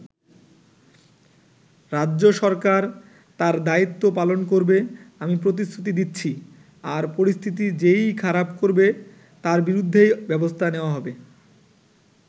রাজ্য সরকার তার দায়িত্ব পালন করবে আমি প্রতিশ্রুতি দিচ্ছি, আর পরিস্থিতি যে-ই খারাপ করবে তার বিরুদ্ধেই ব্যবস্থা নেওয়া হবে।